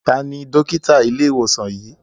Tani Dókítà ile iwosan yii?